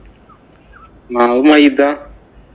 മാവ് മൈദ.